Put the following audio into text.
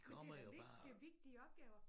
Men det da det vigtige opgaver